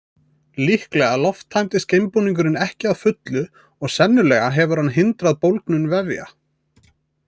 Líklega lofttæmdist geimbúningurinn ekki að fullu og sennilega hefur hann hindrað bólgnun vefja.